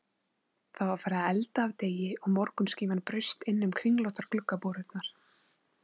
Það var farið að elda af degi og morgunskíman braust innum kringlóttar gluggaborurnar.